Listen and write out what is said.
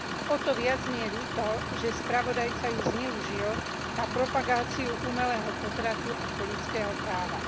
O to viac mi je ľúto, že spravodajca ju zneužil na propagáciu umelého potratu ako ľudského práva.